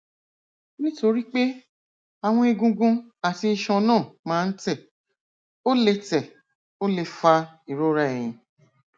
nítorí pé àwọn egungun àti iṣan náà máa ń tẹ ó lè tẹ ó lè fa ìrora ẹyìn